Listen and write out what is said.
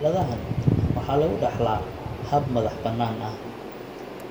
Xaaladahan, waxa lagu dhaxlaa hab madax-bannaani ah.